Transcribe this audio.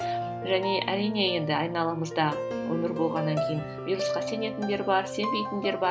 және әрине енді айналамызда өмір болғаннан кейін вирусқа сенетіндер бар сенбейтіндер бар